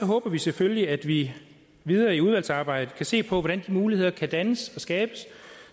håber vi selvfølgelig at vi videre i udvalgsarbejdet kan se på hvordan de muligheder kan dannes og skabes